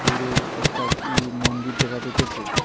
দূরে একটা কি মন্দির দেখা যাইতাসে।